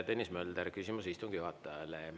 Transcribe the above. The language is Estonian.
Tõnis Mölder, küsimus istungi juhatajale.